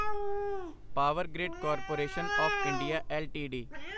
power grid corporation of India LTD